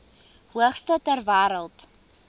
hoogste ter wêreld